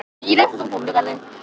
Vili, hvernig er veðrið í dag?